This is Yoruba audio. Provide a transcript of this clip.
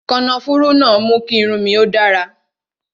Kànáfùrú mú kí irun mi ó dára